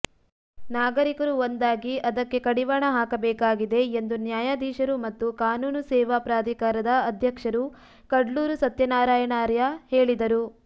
ನಾಗರೀಕರು ಒಂದಾಗಿ ಅದಕ್ಕೆ ಕಡಿವಾಣ ಹಾಕಬೇಕಾಗಿದೆ ಎಂದು ನ್ಯಾಯಾಧೀಶರು ಮತ್ತು ಕಾನೂನು ಸೇವಾ ಪ್ರಾಧಿಕಾರದ ಅಧ್ಯಕ್ಷರು ಕಡ್ಲೂರು ಸತ್ಯನಾರಾಯಣಾರ್ಯ ಹೇಳಿದರು